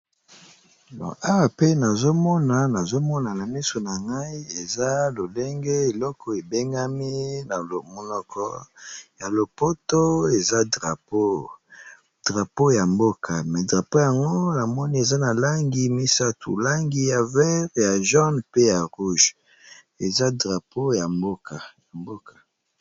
Awa namoni balakisi biso eza obele drapeau ya mboka moko boye eza nalangi misatu eza nabalangi ya mai yapondu na mosaka pe aza nalangi ya motane